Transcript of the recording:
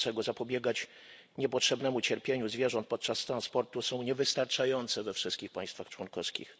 mającego zapobiegać niepotrzebnemu cierpieniu zwierząt podczas transportu są niewystarczające we wszystkich państwach członkowskich.